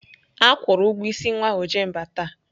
Akwụru ụgwọ ịsị nwa Ojemba taa.